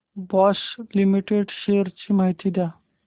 Bosch limited shares ची माहिती द्या